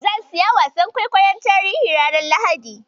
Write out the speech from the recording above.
Zan siyo wasan kwaikwayon tarihi ranar Lahadi.